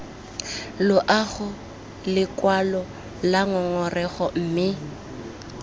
loago lekwalo la ngongorego mme